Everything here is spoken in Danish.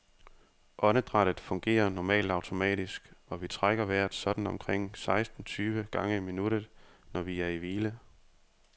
Åndedrættet fungerer normalt automatisk, og vi trækker vejret sådan omkring seksten tyve gange i minuttet, når vi er i hvile.